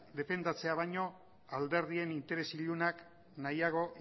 defendatzea baino alderdien interes ilunak nahiago